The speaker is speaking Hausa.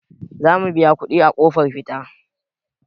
Za mu biya kuɗi a ƙofar fita.